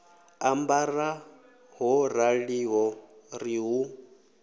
ambara ho raliho ri hu